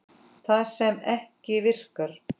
Það sem ekki virkar